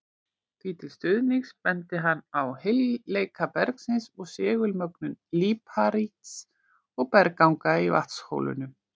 Því til stuðnings benti hann á heilleika bergsins og segulmögnun líparíts og bergganga í Vatnsdalshólum.